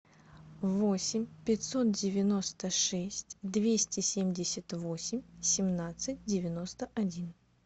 восемь пятьсот девяносто шесть двести семьдесят восемь семнадцать девяносто один